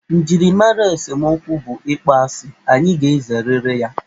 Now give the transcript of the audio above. Njirimara esemokwu bụ ịkpọ asị, anyị ga-ezerịrị ya.